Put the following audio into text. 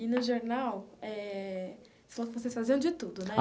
E no jornal eh, você falou que vocês faziam de tudo, né?